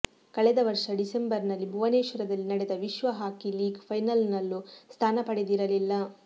ಕಳೆದ ವರ್ಷ ಡಿಸೆಂಬರ್ನಲ್ಲಿ ಭುವನೇಶ್ವರದಲ್ಲಿ ನಡೆದ ವಿಶ್ವ ಹಾಕಿ ಲೀಗ್ ಫೈನಲ್ನಲ್ಲೂ ಸ್ಥಾನ ಪಡೆದಿರಿಲಿಲ್ಲ